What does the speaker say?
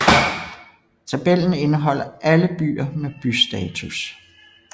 Tabellen indeholder alle byer med bystatus